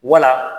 Wala